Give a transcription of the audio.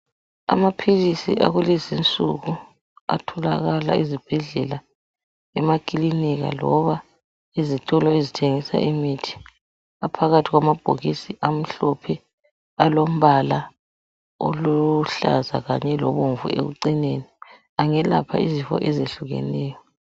Amaphilisi akulezi insuku atholakala ezibhedlela emakiliniki loba ezitolo ezithengisa imithi. Aphakathi kwamabhokisi amhlophe alombala oluhlaza kanye lobomvu ekucineni, engelapha izifo ezehlukeneyo.